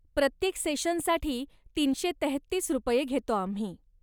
प्रत्येक सेशनसाठी तीनशे तेहतीस रुपये घेतो आम्ही.